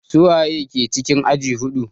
Su wa ke cikin aji huɗu?